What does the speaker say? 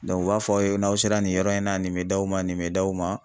u b'a fɔ aw ye n'aw sera nin yɔrɔ in na nin bɛ d'aw ma nin bɛ d'aw ma.